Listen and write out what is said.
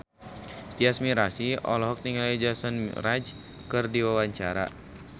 Tyas Mirasih olohok ningali Jason Mraz keur diwawancara